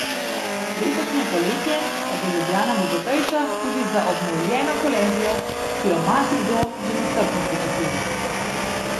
Letošnje poletje pa bo Ljubljana bogatejša tudi za obnovljeno Kolezijo, ki jo marsikdo že nestrpno pričakuje.